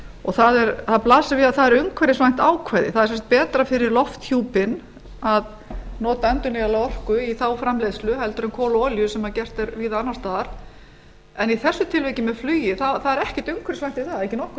og það blasir við að það er umhverfisvænt ákvæði það er sem sagt betra fyrir lofthjúpinn að nota endurnýjanlega orku í þágu framleiðslu heldur en kol og olíu sem gert er víða annars staðar en í þessu tilviki með flugið það er ekkert umhverfisvænt við það það er ekki nokkur